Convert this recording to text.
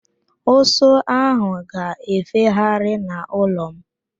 Ụsụ áhụ̀ ga-efegharị n'ụlọ m.